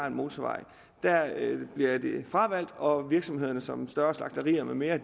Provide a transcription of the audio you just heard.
en motorvej bliver fravalgt og at virksomheder som større slagterier med mere